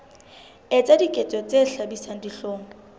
etsa diketso tse hlabisang dihlong